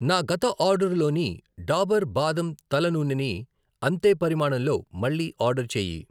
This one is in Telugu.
నా గత ఆర్డరులోని డాబర్ బాదం తల నూనె ని అంతే పరిమాణంలో మళ్ళీ ఆర్డర్ చేయి.